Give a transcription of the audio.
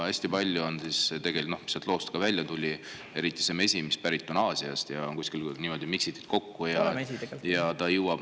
Hästi palju on tegelikult, nagu sellest loost välja tuli,, eriti seda mett, mis on pärit Aasiast ja kuskil kokku miksitud.